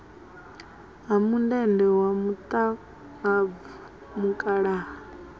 ha mundende wa muṱahabvu mukalaha